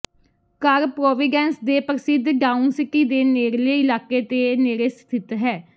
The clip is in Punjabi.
ਘਰ ਪ੍ਰੋਵੀਡੈਂਸ ਦੇ ਪ੍ਰਸਿੱਧ ਡਾਊਨਸੀਟੀ ਦੇ ਨੇੜਲੇ ਇਲਾਕੇ ਦੇ ਨੇੜੇ ਸਥਿਤ ਹੈ